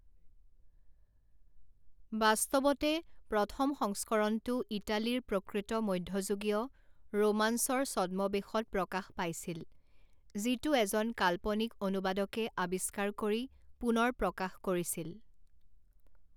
বাস্তৱতে, প্ৰথম সংস্কৰণটো ইটালীৰ প্ৰকৃত মধ্যযুগীয় ৰোমাঞ্চৰ ছদ্মৱেশত প্ৰকাশ পাইছিল, যিটো এজন কাল্পনিক অনুবাদকে আৱিষ্কাৰ কৰি পুনৰ প্ৰকাশ কৰিছিল।